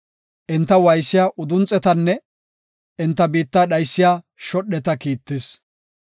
Enta waaysiya udunxetanne enta biitta dhaysiya shodheta kiittis.